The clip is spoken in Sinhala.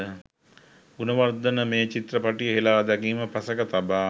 ගුණවර්ධන මේ චිත්‍රපටිය හෙළා දැකීම පසෙක තබා